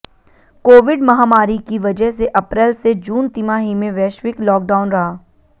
Covid महामारी की वजह से अप्रैल से जून तिमाही में वैश्विक लॉकडाउन रहा